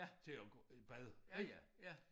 Til at gå i bad ik